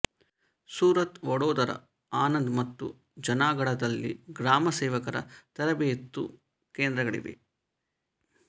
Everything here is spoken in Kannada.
ಸೂರತ್ ವಡೋದರ ಆನಂದ್ ಮತ್ತು ಜುನಾಗಢದಲ್ಲಿ ಗ್ರಾಮ ಸೇವಕರ ತರಬೇತು ಕೇಂದ್ರಗಳಿವೆ